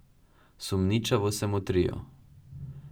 Sumničavo se motrijo.